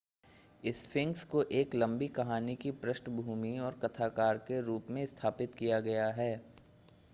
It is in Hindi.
स्फिंक्स को एक लंबी कहानी की पृष्ठभूमि और कथाकार के रूप में स्थापित किया गया है